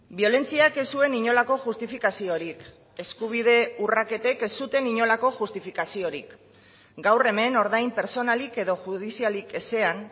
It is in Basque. biolentziak ez zuen inolako justifikaziorik eskubide urraketek ez zuten inolako justifikaziorik gaur hemen ordain pertsonalik edo judizialik ezean